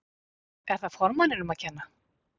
Er það formanninum að kenna?